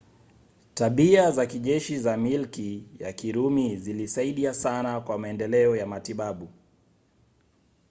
tabia za kijeshi za milki ya kirumi zilisaidia sana kwa maendeleo ya matibabu